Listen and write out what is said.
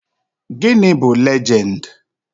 Gịnị bụ legend?